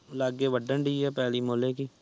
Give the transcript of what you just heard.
ਲੱਗੇ ਵਾਦਨ ਦੇ ਆ ਪੱਲੀ ਮੋਲੇ ਕਿ